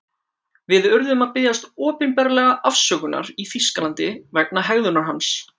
Við urðum að biðjast opinberlega afsökunar í Þýskalandi vegna hegðunar hans.